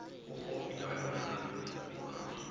bokgoni bja lona go ka